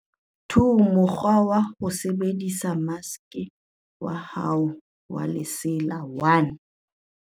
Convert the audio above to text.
2Mokgwa wa ho sebedisa maske wa hao wa lesela 1.